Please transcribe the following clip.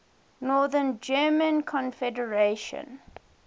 north german confederation